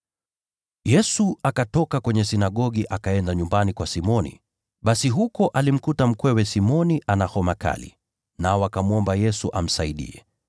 Yesu akatoka katika sinagogi, akaenda nyumbani kwa Simoni. Basi huko alimkuta mama mkwe wa Simoni akiwa ameshikwa na homa kali, nao wakamwomba Yesu amsaidie.